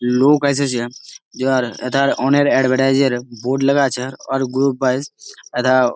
লোক এসেছে ইহার এথার অনেক এডভার্টাইজ -এর বোর্ড লাগা আছে অর গ্রুপ ওয়ায়েজ এথা-আ--